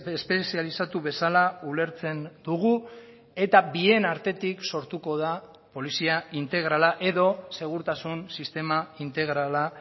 espezializatu bezala ulertzen dugu eta bien artetik sortuko da polizia integrala edo segurtasun sistema integrala